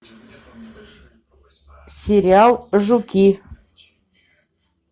сериал жуки